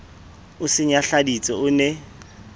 o se nyahladitse o ne